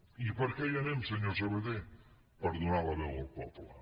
i per què hi anem senyor sabaté per donar la veu al poble